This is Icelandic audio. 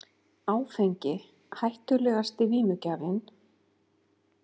Áfengi hættulegasti vímugjafinn